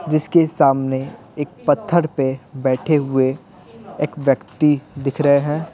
जिसके सामने एक पत्थर पे बैठे हुए एक व्यक्ति दिख रहे हैं।